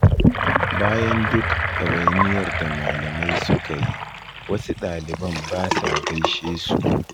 Bayan duk ɗawainiyar da malamai suka yi, wasu ɗaliban ba sa gaishe su